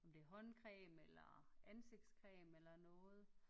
Om det er håndcreme eller ansigtscreme eller noget